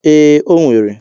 Ee, o nwere.